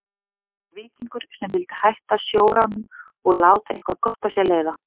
Hann var víkingur sem vildi hætta sjóránum og láta eitthvað gott af sér leiða.